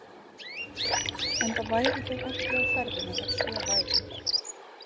Enda væru þeir ekki á ferðinni ef svo væri.